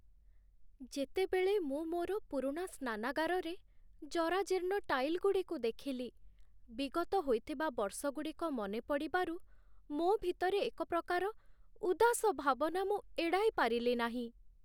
ଯେତେବେଳେ ମୁଁ ମୋର ପୁରୁଣା ସ୍ନାନାଗାରରେ ଜରାଜୀର୍ଣ୍ଣ ଟାଇଲଗୁଡ଼ିକୁ ଦେଖିଲି, ବିଗତ ହୋଇଥିବା ବର୍ଷଗୁଡ଼ିକ ମନେ ପଡ଼ିବାରୁ, ମୋ ଭିତରେ ଏକ ପ୍ରକାର ଉଦାସ ଭାବନା ମୁଁ ଏଡ଼ାଇ ପାରିଲି ନାହିଁ।